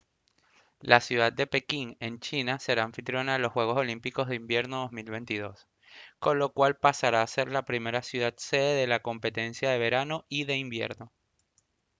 la ciudad de pekín en china será anfitriona de los juegos olímpicos de invierno en 2022 con lo cual pasará a ser la primera ciudad sede de la competencia de verano y de invierno